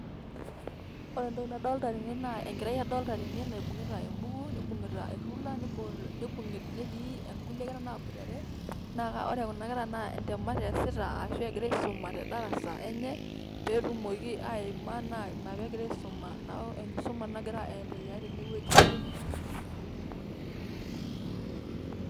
ore entoki nadolta tene naa enkerai naibungita embuku, nibungita erula, nibungita, netii kulie kera naaboitare, naa ore kuna kera naa ntemat eesita. ashu egira aisuma tedarasa enye. pee etumoki aima neeku enkisua nagira aendelea tene wueji.